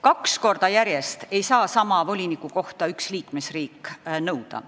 Kaks korda järjest ei saa sama volinikukohta üks liikmesriik nõuda.